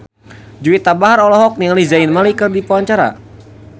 Juwita Bahar olohok ningali Zayn Malik keur diwawancara